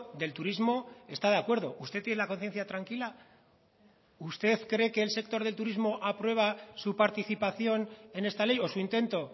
del turismo está de acuerdo usted tiene la conciencia tranquila usted cree que el sector del turismo aprueba su participación en esta ley o su intento